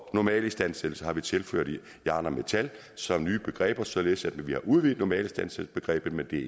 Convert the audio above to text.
normalistandsættelse har vi tilført som nye begreber således at vi har udvidet normalinstandsættelsesbegrebet men det